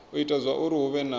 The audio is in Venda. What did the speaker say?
ita zwauri hu vhe na